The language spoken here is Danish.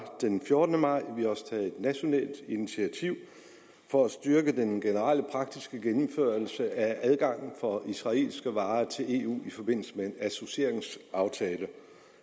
den fjortende maj vi har også taget et nationalt initiativ for at styrke den generelle praktiske gennemførelse af adgangen for israelske varer til eu i forbindelse med en associeringsaftale